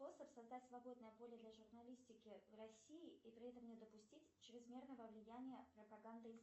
способ создать свободное поле для журналистики в россии и при этом не допустить чрезмерного влияния пропаганды